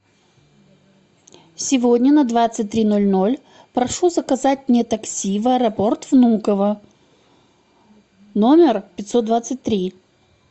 сегодня на двадцать три ноль ноль прошу заказать мне такси в аэропорт внуково номер пятьсот двадцать три